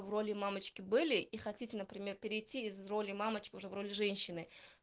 в роли мамочки были и хотите например перейти из роли мамочки уже в роли женщины